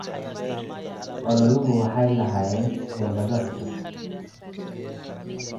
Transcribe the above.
Ololuhu waxay lahaayeen xeelado cusub.